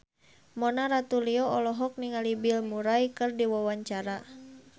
Mona Ratuliu olohok ningali Bill Murray keur diwawancara